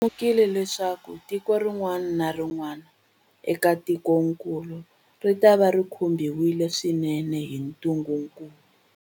Lemukile leswaku tiko rin'wana na rin'wana eka tikokulu ritava ri khumbiwile swinene hi ntungukulu.